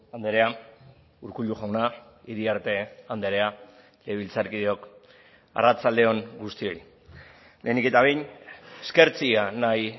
andrea urkullu jauna iriarte andrea legebiltzarkideok arratsalde on guztioi lehenik eta behin eskertzea nahi